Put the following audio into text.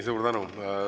Suur tänu!